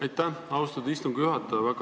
Aitäh, austatud istungi juhataja!